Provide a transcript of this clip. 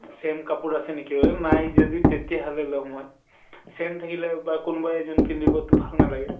same কাপোৰ আছে নেকি অ নাই যদি তেতিয়া হলে লম মই। same থাকিলে বা কোনোবাই যোন পিন্ধিব তো ভাল নালাগে।